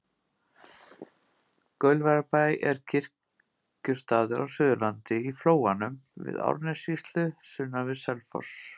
Gaulverjabær er kirkjustaður á Suðurlandi, í Flóanum í Árnessýslu sunnan við Selfoss.